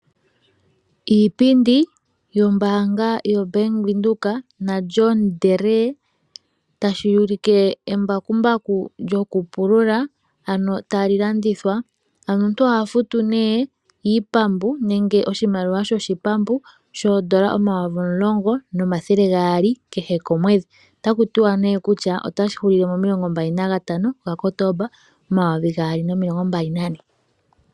Iipindi yombaanga yoBank Windhoek na John Deere tashi ulike embakumbaku lyokupulula tali landithwa. Ano omuntu oha futu nee iipambu nenge oshimaliwa shoshipambu shoodola